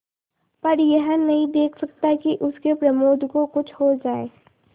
पर यह नहीं देख सकता कि उसके प्रमोद को कुछ हो जाए